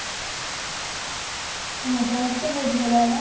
ମଜା ମସ୍ତି ବହୁତ ଭଲ ହେଲା